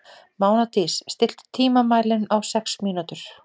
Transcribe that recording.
Mánadís, stilltu tímamælinn á sex mínútur.